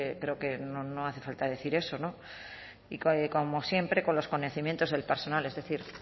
creo que no hace falta decir eso y como siempre con los conocimientos del personal es decir